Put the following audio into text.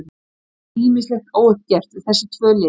Við eigum ýmislegt óuppgert við þessi tvö lið.